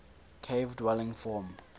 cave dwelling form